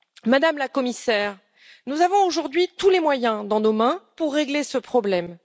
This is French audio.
Madame la Commissaire, nous avons aujourd'hui tous les moyens en main pour régler ce problème.